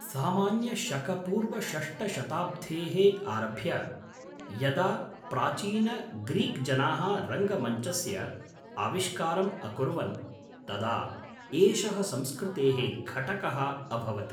सामान्य शक पूर्व षष्ट शताब्धेः आरभ्य, यदा प्राचीनग्रीक्जनाः रङ्गमञ्चस्य आविष्कारम् अकुर्वन्, तदा एषः संस्कृतेः घटकः अभवत्।